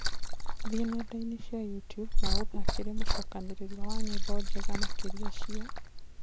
thĩĩ nendaini cĩa youtube na uthakire mucokaniririo wa nyĩmbo njega makĩrĩa cĩa